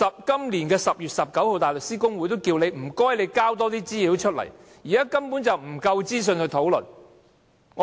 今年10月19日大律師公會已促請政府提供更多資料，因為根本沒有足夠資訊供大家討論。